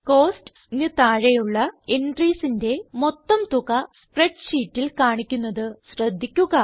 Costsന് താഴെയുള്ള entriesന്റെ മൊത്തം തുക സ്പ്രെഡ് ഷീറ്റിൽ കാണിക്കുന്നത് ശ്രദ്ധിക്കുക